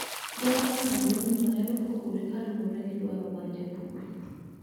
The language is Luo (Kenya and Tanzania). Bor mar sandugno nyalo pogore kaluwore gi dwaro mar japur.